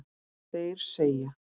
Þeir segja